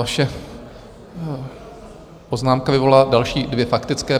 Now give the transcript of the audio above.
Vaše poznámka vyvolala další dvě faktické.